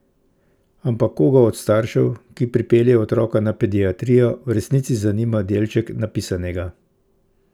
Ampak koga od staršev, ki pripelje otroka na pediatrijo, v resnici zanima delček napisanega?